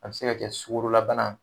A bɛ se ka kɛ sukoro labana